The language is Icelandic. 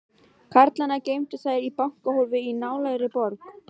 Karlana geymdu þær í bankahólfi í nálægri borg.